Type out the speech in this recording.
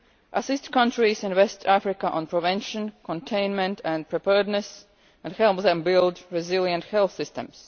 assist countries in West Africa on prevention, containment and preparedness and help them build resilient health systems